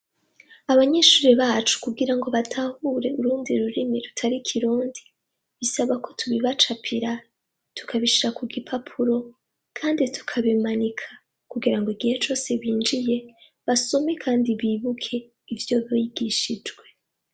Abanyeshure bacu kugira batahure urundi rurimi rutari ikirundi bisaba ko tubibacapira tunabishira kugipapuro kandi tukabimanika kugira ngo igihe cose binjiye basome kandi bibuke ivyo bigishijwe